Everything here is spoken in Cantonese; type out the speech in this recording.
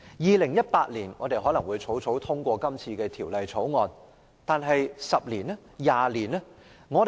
2018年，我們可能會草草通過《條例草案》，但10年、20年後會怎樣？